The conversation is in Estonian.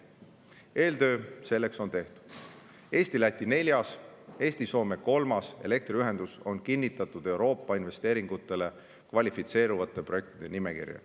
Eeltöö selleks on tehtud: Eesti-Läti neljas ja Eesti-Soome kolmas elektriühendus on kinnitatud Euroopa investeeringutele kvalifitseeruvate projektide nimekirja.